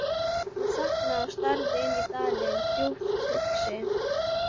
Hún þagnar og starir inn dalinn, djúpt hugsi.